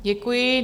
Děkuji.